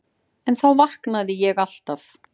En þá vaknaði ég alltaf.